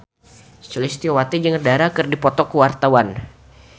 Sulistyowati jeung Dara keur dipoto ku wartawan